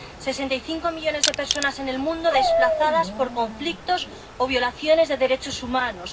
Sesenta y cinco millones de personas en el mundo desplazadas por conflictos o violaciones de derechos humanos.